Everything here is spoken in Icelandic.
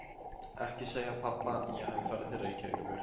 Ekki segja pabba að ég hafi farið til Reykjavíkur.